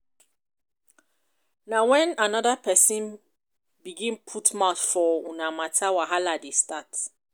na wen anoda pesin begin put mouth for una mata wahala dey start.